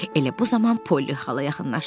Elə bu zaman Polli xala yaxınlaşdı.